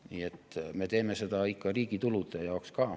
Nii et me teeme seda ikka riigi tulude jaoks ka.